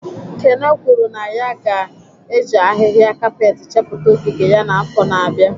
Kene kwuru na ya ga-eji ahịhịa kapet chepụta ogige ya n'afọ na-abịa